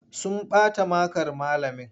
Sun bata makar malamin.